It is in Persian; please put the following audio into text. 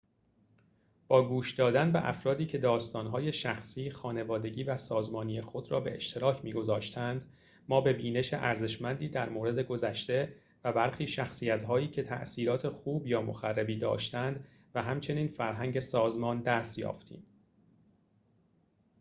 با گوش دادن به افرادی که داستان‌های شخصی خانوادگی و سازمانی خود را به اشتراک می‌گذاشتند ما به بینش ارزشمندی در مورد گذشته و برخی شخصیتهایی که تاثیرات خوب یا مخربی داشته‌اند و همچنین فرهنگ سازمان دست یافتیم